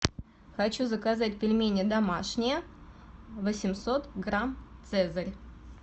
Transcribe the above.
хочу заказать пельмени домашние восемьсот грамм цезарь